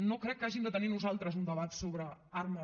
no crec que hàgim de tenir nosaltres un debat sobre armes